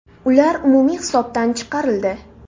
Ular umumiy hisobdan chiqarildi.